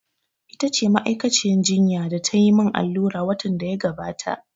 Ita ce ma'aikaciyar jinya da ta yi min allura watan da ya gabata.